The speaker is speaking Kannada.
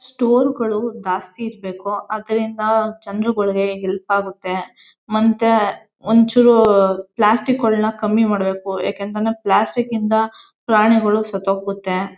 ಸ್ಟೋರ್ ಗಳು ದಾಸ್ತಿ ಇರ್ಬೇಕು. ಅದ್ರಿಂದ ಜನರುಗಳ್ಗೆ ಹೆಲ್ಪ್ ಆಗತ್ತೆ. ಮತ್ತೆ ಒಂಚೂರೂ ಪ್ಲಾಸ್ಟಿಕ್ ಗೋಲನ ಕಮ್ಮಿ ಮಾಡ್ಬೇಕು. ಯಾಕೆ ಅಂತಂದ್ರೆ ಪ್ಲಾಸ್ಟಿಕ್ ಇಂದ ಪ್ರಾಣಿಗಳು ಸತ್ತೋಗುತ್ತೆ.